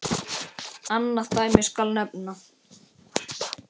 Annað dæmi skal nefna.